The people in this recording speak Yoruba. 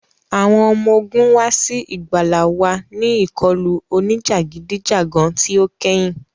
Awọn ọmọ ogun wa si igbala wa ni ikọlu onijagidijagan ti o kẹhin.